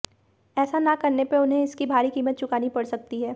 ऐसा न करने पर उन्हें इसकी भारी कीमत चुकानी पड़ सकती है